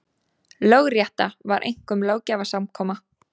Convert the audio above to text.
Lögrétta var einkum löggjafarsamkoma.